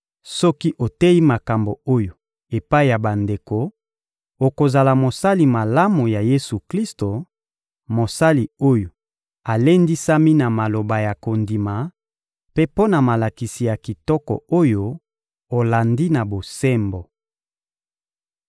Soki oteyi makambo oyo epai ya bandeko, okozala mosali malamu ya Yesu-Klisto, mosali oyo alendisami na maloba ya kondima mpe na malakisi ya kitoko oyo olandi na bosembo.